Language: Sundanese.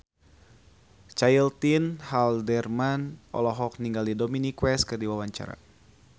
Caitlin Halderman olohok ningali Dominic West keur diwawancara